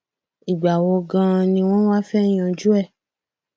ìgbà wo ganan ni wọn wá fẹ yanjú ẹ